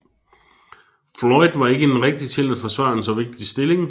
Floyd var ikke den rigtige til at forsvare en så vigtig stilling